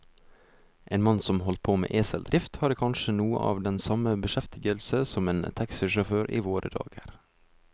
En mann som holdt på med eseldrift, hadde kanskje noe av den samme beskjeftigelse som en taxisjåfør i våre dager.